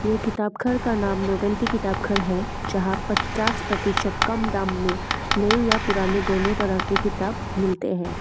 ये किताब घर का नाम नोबिलिटी किताब घर है जहां पच्चास प्रतिशत कम दाम में नए या पुराने दोनों तरह के किताब मिलते हैं।